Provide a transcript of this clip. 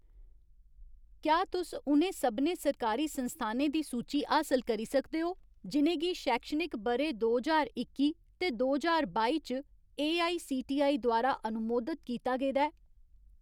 क्या तुस उ'नें सभनें सरकारी संस्थानें दी सूची हासल करी सकदे ओ जि'नें गी शैक्षणिक ब'रे दो ज्हार इक्की ते दो ज्हार बाई च एआईसीटीई द्वारा अनुमोदत कीता गेदा ऐ ?